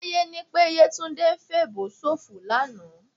Táyé ní pé Yétúndé ń fèèbó ṣòfò lánàá